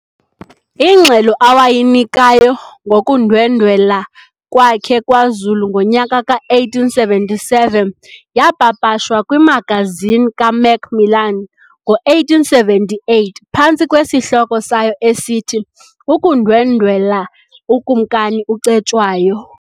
Ingxelo awayinikayo ngokundwendwela kwakhe kwaZulu ngonyaka ka-1877 yapapashwa "kwiMagazini kaMacMillan" ngo-1878 phantsi kwesihloko sayo esithi "Ukundwendwela uKumkani uCetshwayo."